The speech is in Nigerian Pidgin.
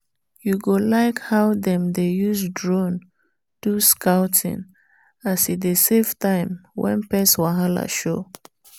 you go like how dem dey use drone do scouting as e dey save time when pest wahala show.